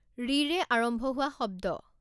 ঋৰে আৰম্ভ হোৱা শব্দ.